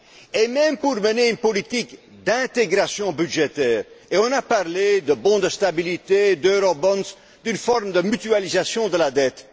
Et même pour mener une politique d'intégration budgétaire, et on a parlé de bons de stabilité, d'eurobonds, d'une forme de mutualisation de la dette.